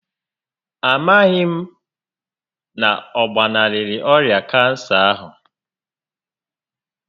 A maghị m na ọ gbanarịrị ọrịa kansa ahụ